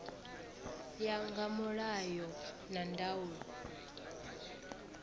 ya nga mulayo na ndaulo